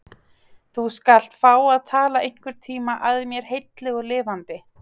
Þú skalt fá að tala einhverntíma að mér heilli og lifandi.